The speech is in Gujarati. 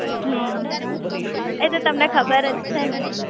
હમ્મ એ તો તમને ખબર જ છે ને